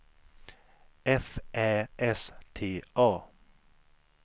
F Ä S T A